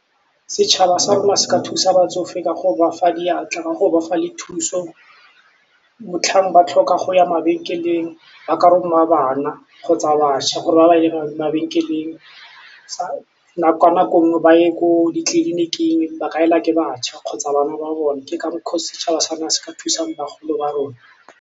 Setšhaba sa rona se ka thusa batsofe ka go ba fa diatla, ka go ba fa le thuso motlhang ba tlhoka go ya mabenkeleng ba ka roma bana kgotsa baša gore ba ba mabenkeleng, ka nako nngwe ba ye ko ditleliniking ba ka elwa ke batšha kgotsa bana ba bone ke ka mokgwa o setšhaba sa rona se ka thusang bagolo ba rona.